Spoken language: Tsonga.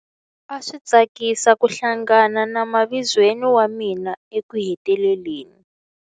A swi tsakisa ku hlangana na mavizweni wa mina ekuheteleleni.